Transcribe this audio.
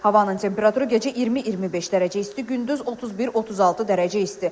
Havanın temperaturu gecə 20-25 dərəcə isti, gündüz 31-36 dərəcə isti.